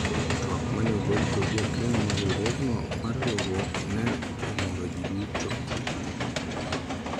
twak mane ogol kod jakeno mar riwruogno mar riwruok ne omoro jii duto